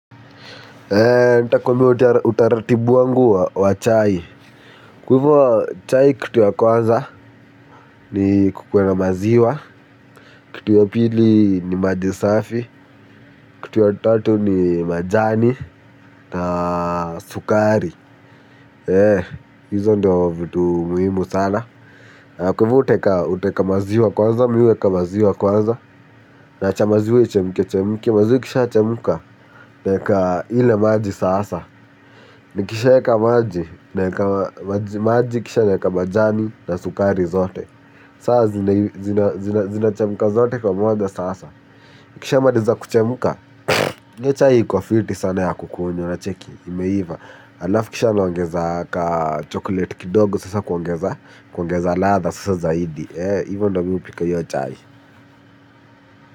Eee, nitakwambiai utaratibu wangu wa chai. Kwa hivyo, chai kitu ya kwanza ni kukuwe na maziwa. Kitu ya pili ni maji safi. Kitu ya tatu ni majani na sukari. Eee, hizo ndo vitu muhimu sana. Kwa hivyo huteka maziwa kwanza, mi huweka maziwa kwanza. Naacha maziwa ichemkechemke, maziwa ikishachemka naeka ile maji sasa. Nikishaeka maji maji, kisha naweka majani, na sukari zote. Saa zinachemka zote pamoja sasa. Ikishamaliza kuchemka. Hiyo chai iko fiti sana ya kukunywa unacheki. Imeiva. Halafu kisha naongeza kachocolate kidogo sasa kuongeza. Kuongeza ladha sasa zaidi. Ee hivyo ndio mimi hupika hiyo chai.